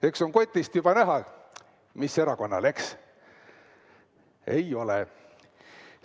Eks on kotist juba näha, mis erakonnale, eks?